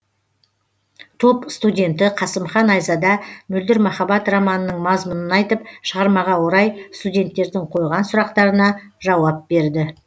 топ студенті қасымхан айзада мөлдір махаббат романының мазмұнын айтып шығармаға орай студенттердің қойған сұрақтарына жауап берді